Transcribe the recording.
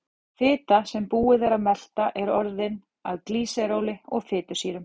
Fita sem búið er að melta er orðin að glýseróli og fitusýrum.